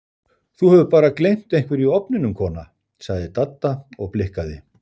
Þú hefur bara gleymt einhverju í ofninum kona sagði Dadda og blikkaði